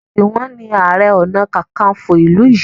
Juwon ni aré ọnà kankanfo ilú yí.